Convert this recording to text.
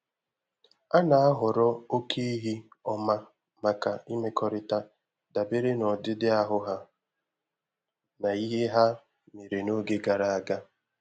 A na-ahọrọ oke ehi ọma maka imekọrịta dabere na ọdịdị ahụ ha na ihe ha mere n’oge gara aga.